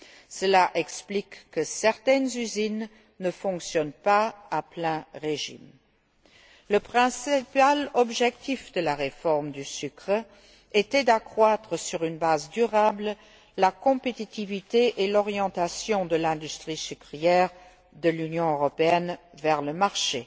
Cela explique que certaines usines ne fonctionnent pas à plein régime. Le principal objectif de la réforme du sucre était d'accroître, sur une base durable, la compétitivité et l'orientation de l'industrie sucrière de l'Union européenne vers le marché.